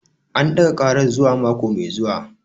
An ɗaga ƙarar zuwa mako mai zuwa